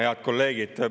Head kolleegid!